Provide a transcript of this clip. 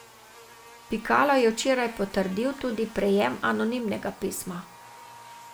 Pikalo je včeraj potrdil tudi prejem anonimnega pisma.